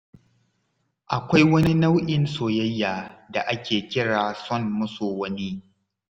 Akwai wani nau'in soyayya da ake kira son maso wani.